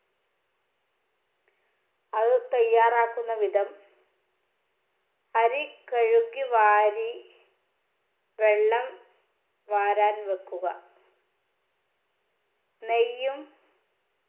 അത് തയ്യാറാക്കുന്ന വിധം അരി കഴുകി വാരി വെള്ളം വാരാൻ വെക്കുക നെയ്യും